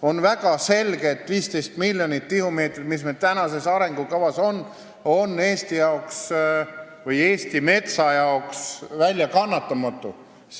On väga selge, et 15 miljonit tihumeetrit, mis arengukavas on, on Eesti või Eesti metsa jaoks väljakannatamatu.